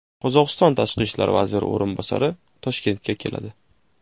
Qozog‘iston tashqi ishlar vaziri o‘rinbosari Toshkentga keladi.